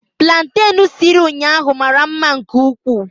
Plantain siri ụnyahụ mara mma nke ukwuu